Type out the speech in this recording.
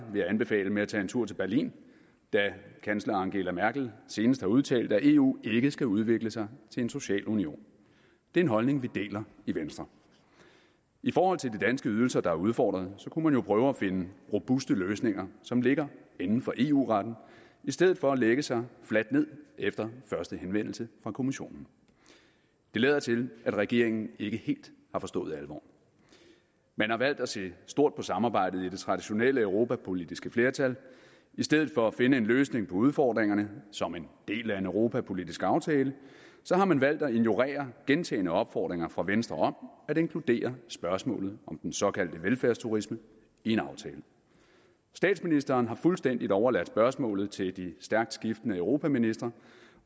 med at tage en tur til berlin da kansler angela merkel senest har udtalt at eu ikke skal udvikle sig til en social union det er en holdning vi deler i venstre i forhold til de danske ydelser der er udfordret kunne man jo prøve at finde robuste løsninger som ligger inden for eu retten i stedet for at lægge sig fladt ned efter første henvendelse fra kommissionen det lader til at regeringen ikke helt har forstået alvoren man har valgt at se stort på samarbejdet i det traditionelle europapolitiske flertal i stedet for at finde en løsning på udfordringerne som en del af en europapolitisk aftale har man valgt at ignorere gentagne opfordringer fra venstre om at inkludere spørgsmålet om den såkaldte velfærdsturisme i en aftale statsministeren har fuldstændig overladt spørgsmålet til de stærkt skiftende europaministre